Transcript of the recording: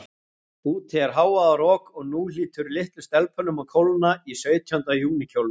Úti er hávaðarok, og nú hlýtur litlum stelpum að kólna í sautjánda júní kjólunum.